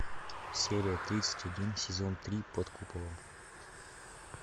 серия тридцать один сезон три под куполом